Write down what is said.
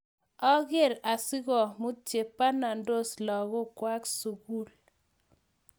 ang'er asikomut che banandos lagokwak sukul